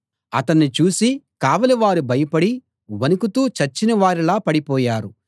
అతన్ని చూసి కావలివారు భయపడి వణకుతూ చచ్చిన వారిలా పడిపోయారు